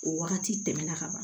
O wagati tɛmɛna ka ban